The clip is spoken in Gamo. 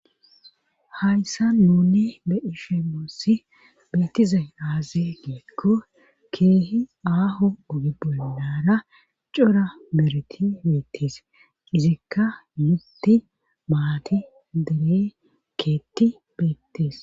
Hayssa nunne be'ishshin nussi beettizay aaze giikko ke'hi aaho oge bollara cora bereti beettis izikka mutti maati dere keeti beettees